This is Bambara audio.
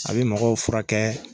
A bi mɔgɔw furakɛ